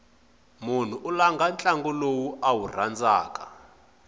mnhu u langha ntlangu lowu a wu rhandzaku